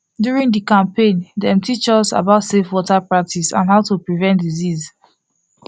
during the campaign dem teach us about safe water practice and how to prevent disease